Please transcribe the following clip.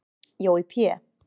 Jói Pé